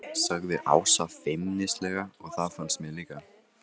sagði Ása feimnislega og það fannst mér líka.